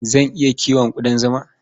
Zan iya kiwon ƙudan zima.